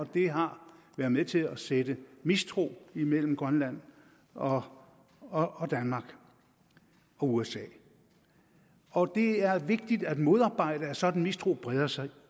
det har været med til at sætte mistro imellem grønland og og danmark og usa og det er vigtigt at modarbejde at en sådan mistro breder sig